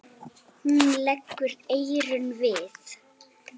Hún leggur eyrun við.